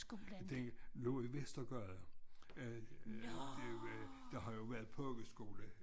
Den lå i Vestergade øh der har jo været pogeskole